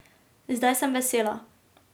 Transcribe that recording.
Zdaj sem vesela.